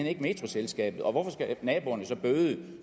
ikke metroselskabet og hvorfor skal naboerne så bøde